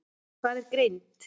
Hvað er greind?